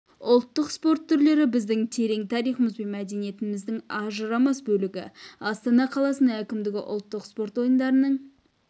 ұлттық спорт түрлері біздің терең тарихымыз бен мәдениетіміздің ажырамас бөлігі астана қаласының әкімдігі ұлттық спорт ойындарының